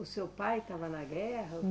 O seu pai estava na guerra?